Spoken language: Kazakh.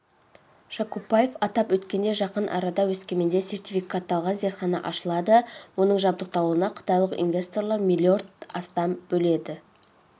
жакупбаев атап өткендей жақын арада өскеменде сертификатталған зертхана ашылады оның жабдықталуына қытайлық инвесторлар миллиард астам бөліп